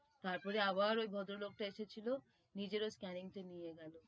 তারপরে আবার ওই ভদ্রলোক তা এসেছিলো নিজের ওই scanning টা নিয়ে গেলো,